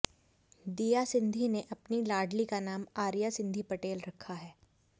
दिया सिंधी ने अपनी लाडली का नाम आरिया सिंधी पटेल रखा है